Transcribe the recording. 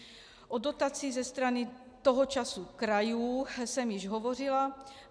O dotaci ze strany toho času krajů jsem již hovořila.